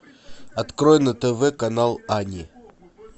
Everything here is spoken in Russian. открой на тв канал ани